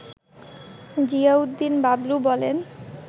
জিয়া উদ্দিন বাবলু বলেন